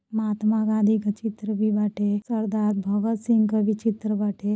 महात्मा गांधी क चित्र भी बाटे। सरदार भगत सिंह क भी चित्र बाटे।